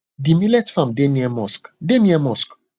the millet farm deh near mosque deh near mosque